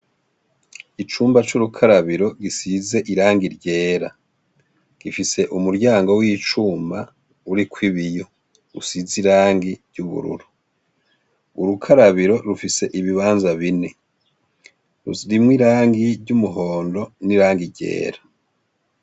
Icumba c'urukarabiro gisizwe irangi ryera, gifise umuryango w'icuma uriko ibiyo, isize irangi ry'ubururu, urukarabiro rufise ibibanza bine rurimwo irangi ry'umuhondo n'irangi ryera.